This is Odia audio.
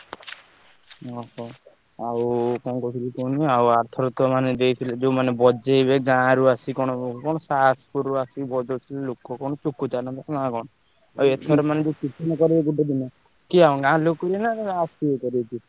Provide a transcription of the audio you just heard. ଓହୋ ଆଉ କଣ କହୁଥିଲି କୁହନି ଆରଥରକ ଦେଇଥିଲେ ଯୋଉ ମାନେ ବଜେଇବେ ଗାଁ ରୁ ଆସି କଣ ବଜଉଥିଲେ ଲୋକ କଣ ଆଉ ଏଥର ମାନେ କରିବେ ଗୋଟେ ଦିନ କିଏ ଗାଁ ଲୋକ କରିବେ ନଂ ଆସିବେ ।